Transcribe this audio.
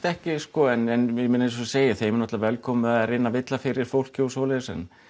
ekki sko en eins og ég segi þá er þeim bara velkomið að reyna að villa um fyrir fólki og svoleiðis en